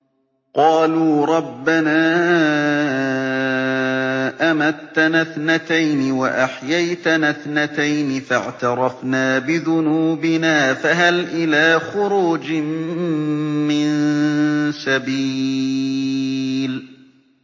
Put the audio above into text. قَالُوا رَبَّنَا أَمَتَّنَا اثْنَتَيْنِ وَأَحْيَيْتَنَا اثْنَتَيْنِ فَاعْتَرَفْنَا بِذُنُوبِنَا فَهَلْ إِلَىٰ خُرُوجٍ مِّن سَبِيلٍ